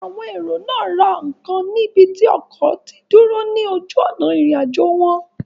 Àwọn èrò náà ra ǹkan ní ibi tí ọkọ̀ tí dúró ní ojú òná ìrìn àjò wọn